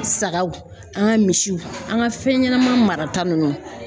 Sagaw, an ka misiw, an ka fɛn ɲɛnama marata nunnu